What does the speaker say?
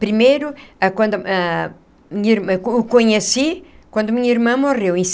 Primeiro, ah quando ah minha o conheci quando minha irmã morreu, em